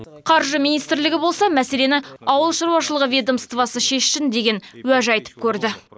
қаржы министрлігі болса мәселені ауыл шаруашылығы ведомствосы шешсін деген уәж айтып көрді